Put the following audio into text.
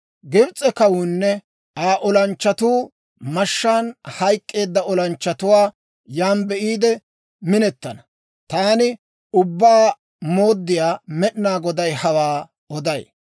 «Gibs'e kawuunne Aa olanchchatuu mashshaan hayk'k'eedda olanchchatuwaa yaan be'iide minetana. Taani Ubbaa Mooddiyaa Med'inaa Goday hawaa oday.